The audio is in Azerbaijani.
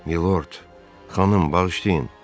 Milord, xanım, bağışlayın.